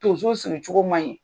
Donso siri cogo ma ɲi